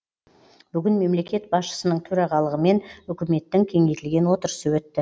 бүгін мемлекет басшысының төрағалығымен үкіметтің кеңейтілген отырысы өтті